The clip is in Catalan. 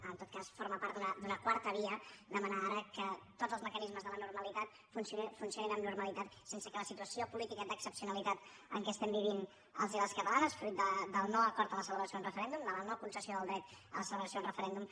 en tot cas forma part d’una quarta via demanar ara que tots els mecanismes de la normalitat funcionin amb normalitat sense que la situació política d’excepcionalitat en què vivim els i les catalanes fruit del no acord en la celebració d’un referèndum de la no concessió del dret a la celebració d’un referèndum